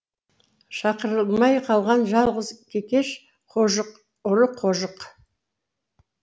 шақырылмай қалған жалғыз кекеш қожық ұры қожық